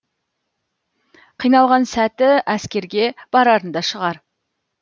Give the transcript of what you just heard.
қиналған сәті әскерге барарында шығар